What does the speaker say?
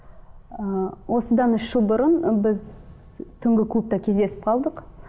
ы осыдан үш жыл бұрын біз түнгі клубта кездесіп қалдық